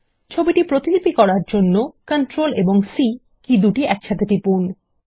ছবিটি প্রতিলিপি করার জন্য Ctrl এবং সি কী একসাথে টিপুন